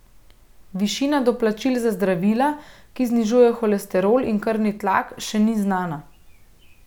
Višina doplačil za zdravila, ki znižujejo holesterol in krvni tlak, še ni znana.